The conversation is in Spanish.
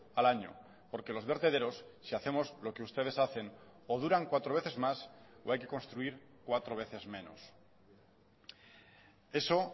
al año porque los vertederos si hacemos lo que ustedes hacen o duran cuatro veces más o hay que construir cuatro veces menos eso